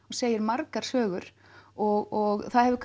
segir margar sögur og það hefur